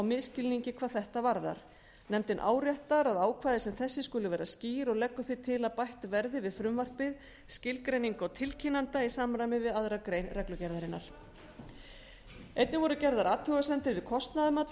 misskilningi hvað þetta varðar nefndin áréttar að ákvæði sem þessi skuli vera skýr og leggur því til að bætt verði við frumvarpið skilgreiningu á tilkynnanda í samræmi við aðra grein reglugerðarinnar einnig voru gerðar athugasemdir við kostnaðarmat